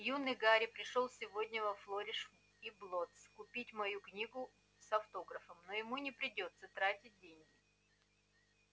юный гарри пришёл сегодня во флориш и блоттс купить мою книгу с автографом но ему не придётся тратить